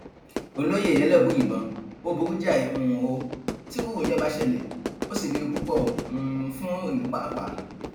olóye elébùíbọn ó burú jáì um ó tírú ìyẹn bá ṣẹlẹ ó sì léwu púpọ um fún ìlú pàápàá